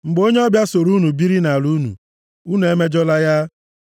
“ ‘Mgbe onye ọbịa soro unu biri nʼala unu, unu emejọla ya.